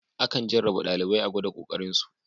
Akan jarraba ɗalibai a gwada ƙoƙarin su.